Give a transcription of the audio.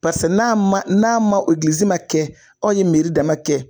Paseke n'a ma n'an ma ma kɛ, aw ye dama kɛ